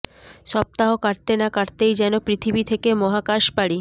সপ্তাহ কাটতে না কাটতেই যেন পৃথিবী থেকে মহাকাশ পাড়ি